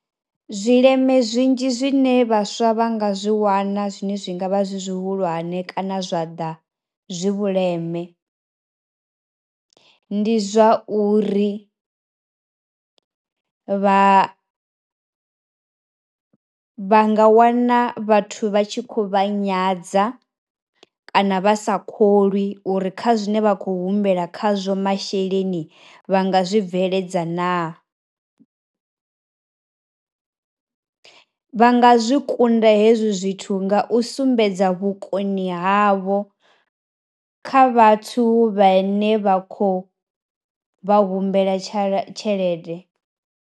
Zwi leme zwinzhi zwine vhaswa vha nga zwi wana zwine zwi ngavha zwi zwihulwane kana zwa ḓa zwi vhuleme, ndi zwa uri vha vha nga wana vhathu vha tshi kho vha nyadza, kana vha sa kholwi uri kha zwine vha khou humbela khazwo masheleni vha nga zwi bveledza na. Vha nga zwi kunda hezwi zwithu nga u sumbedza vhukoni havho kha vhathu vha ne vha khou vha humbela tsha tshelede.